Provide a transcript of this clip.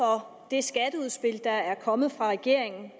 for det skatteudspil der er kommet fra regeringen